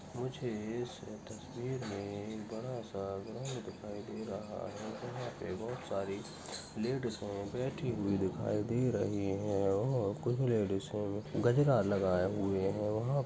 मुझे इस तस्वीर मे एक बड़ा सा ग्राउन्ड दिखाई दे रहा है अ यहाँ पे बहुत सारी लेडिज बैठी हुई दिखाई दे रही है और कुछ लेडिज ने गजरा लगाये हुए है वहाँ --